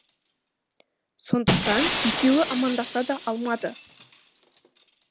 сондықтан екеуі амандаса да алмады